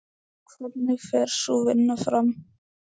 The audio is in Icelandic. Hvernig fer sú vinna fram?